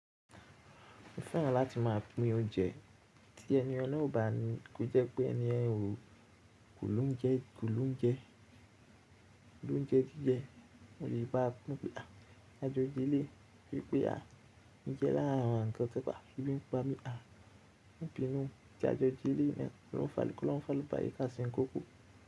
Mo fẹ́ràn láti máa pín oúnjẹ tí ẹni ọ̀na ò bá ní, kí ó jẹ́ pé ẹni ẹ̀ ò kò lóúnjẹ, kò lóúnjẹ, kò lóúnjẹ jíjẹ. Mo lè gbáà tú pé àjọjú líle pé pé à n jẹ́ lára àwọn nnkan kan, kí n pa mí à n gbìnú tí a jọjí lé mẹ, kí n fa lóún fa lóba yika sí nkúkú.